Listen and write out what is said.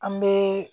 An bɛ